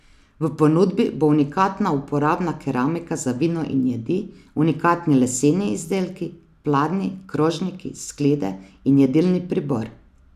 V ponudbi bo unikatna uporabna keramika za vino in jedi, unikatni leseni izdelki, pladnji, krožniki, sklede in jedilni pribor.